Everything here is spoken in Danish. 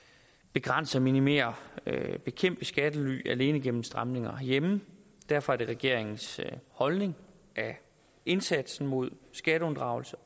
begrænse minimere og bekæmpe skattely alene igennem stramninger herhjemme derfor er det regeringens holdning at indsatsen mod skatteunddragelse